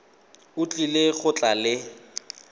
o tlile go tla le